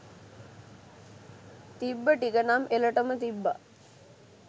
තිබ්බ ටිකනම් එලටම තිබ්බා